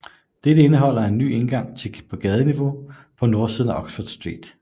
Dette indeholder en ny indgang i gadeniveau på nordsiden af Oxford Street